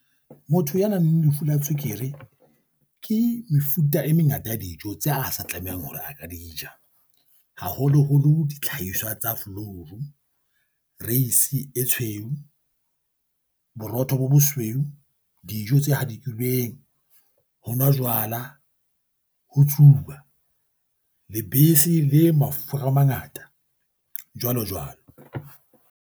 Motho ya nang le lefu la tswekere ke mefuta e mengata ya dijo tse a sa tlamehang hore a ka di ja, haholoholo ditlhaiswa tsa flouru. Reisi e tshweu, borotho bo bosweu, dijo tse hadikilweng. Ho nwa jwala, ho tsuba, lebese le mafura a mangata, jwalo jwalo.